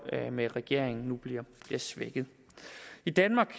med regeringen nu bliver svækket i danmark